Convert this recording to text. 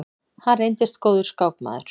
Hann reyndist góður skákmaður.